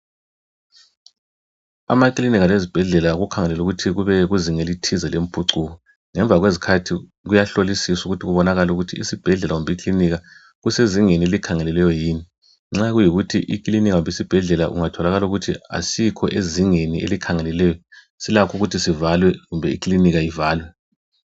Amakilinika lezibhedlela kukhangelelwe ukuthi kube kuzinga elithize lempucuko. Ngemva kwezikhathi kuyahlolisiswa ukuthi kubonakale ukuthi isibhedlela kumbe ikilinika kusezingeni elikhangelelweyo yini. Nxa kuyikuthi ikilinika kumbe isibhedlela kungatholakala ukuthi asikho ezingeni elikhangelelweyo silakho ukuthi sivalwe kumbe ikilinika ivalwe.